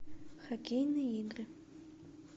хоккейные игры